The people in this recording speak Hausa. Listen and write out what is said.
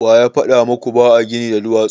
Waya faɗa muku ba a gini da duwatsu?